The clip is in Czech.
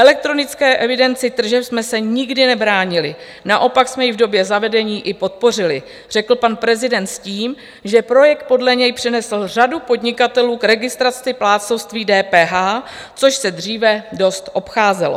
Elektronické evidenci tržeb jsme se nikdy nebránili, naopak jsme ji v době zavedení i podpořili, řekl pan prezident s tím, že projekt podle něj přivedl řadu podnikatelů k registraci plátcovství DPH, což se dříve dost obcházelo.